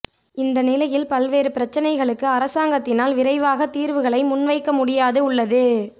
இந்த நிலையில் பல்வேறு பிரச்சினைகளுக்கு அரசாங்கத்தினால் விரைவாக தீர்வுகளை முன்வைக்க முடியாது உள்ளது